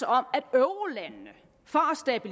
at eurolandene for